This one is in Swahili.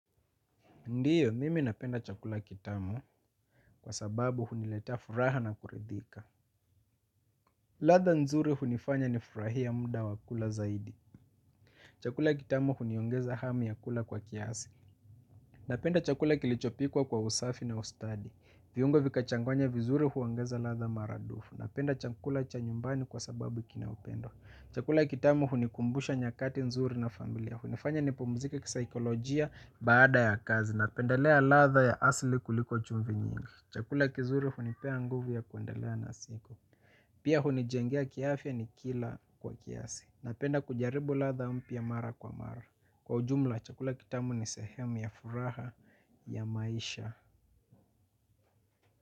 Ndiyo, mimi napenda chakula kitamu kwa sababu huniletea furaha na kuridhika. Ladha nzuri hunifanya nifurahie mda wa kula zaidi. Chakula kitamu huniongeza hamu ya kula kwa kiasi. Napenda chakula kilichopikwa kwa usafi na ustadi. Viungo vikachanganywa vizuri huongeza ladha maradufu. Napenda chakula cha nyumbani kwa sababu kina upendo. Chakula kitamu hunikumbusha nyakati nzuri na familia. Hunifanya nipumzike kisaikolojia baada ya kazi. Napendelea ladha ya asli kuliko chumvi nyingi. Chakula kizuri hunipea nguvu ya kuendelea lea na siku. Pia hunijengea kiafya nikila kwa kiasi. Napenda kujaribu ladha mpya mara kwa mara. Kwa ujumla chakula kitamu ni sehemu ya furaha ya maisha.